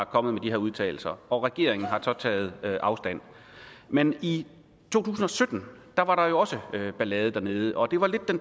kommet med de her udtalelser og regeringen har så taget afstand men i to tusind og sytten var der jo også ballade dernede og det var lidt